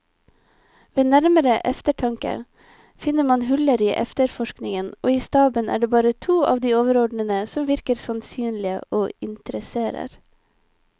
Ved nærmere eftertanke finner man huller i efterforskningen, og i staben er det bare to av de overordnede som virker sannsynlige og interesserer.